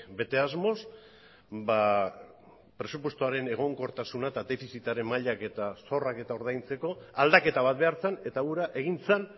bete asmoz presupuestoaren egonkortasuna eta defizitaren mailak eta zorrak eta ordaintzeko aldaketa bat behar zen eta hura egin zen